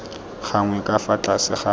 gagwe ka fa tlase ga